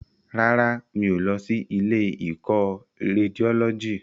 Rárá, mi ò lọ sí ilé ìkọ́ Rédiólọ́jì